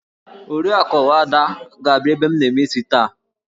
Oriakụ Ada ga-abia ebe m na-eme taa